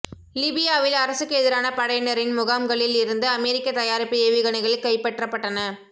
லிபியாவில் அரசுக்கு எதிரான படையினரின் முகாம்களில் இருந்து அமெரிக்க தயாரிப்பு ஏவுகணைகள் கைப்பற்றப்பட்டன